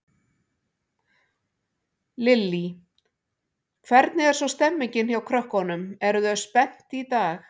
Lillý: Hvernig er svo stemmingin hjá krökkunum, eru þau spennt í dag?